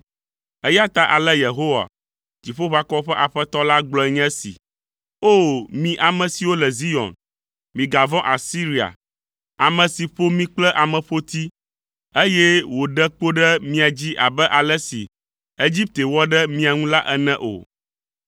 Eya ta ale Yehowa, Dziƒoʋakɔwo ƒe Aƒetɔ la, gblɔe nye esi: “O! Mi ame siwo le Zion, migavɔ̃ Asiria, ame si ƒo mi kple ameƒoti, eye wòɖe kpo ɖe mia dzi abe ale si Egipte wɔ ɖe mia ŋu la ene o.